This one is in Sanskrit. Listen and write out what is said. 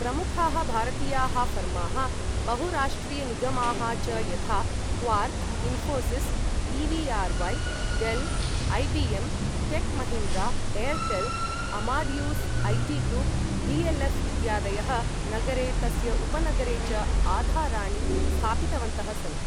प्रमुखाः भारतीयाः फर्माः बहुराष्ट्रीयनिगमाः च यथा Quark, Infosys, EVRY, Dell, IBM, Tech Mahindra, Airtel, Amadeus IT group, DLF इत्यादयः नगरे तस्य उपनगरे च आधाराणि स्थापितवन्तः सन्ति